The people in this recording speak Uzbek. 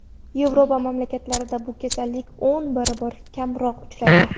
Yevropa mamlakatlarida bu kasallik o‘n barobar kamroq uchraydi.